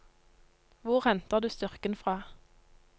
Hvor henter du styrken fra?